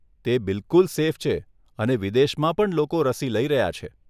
તે બિલકુલ સેફ છે અને વિદેશમાં પણ લોકો રસી લઇ રહ્યા છે.